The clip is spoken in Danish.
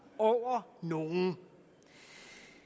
over nogen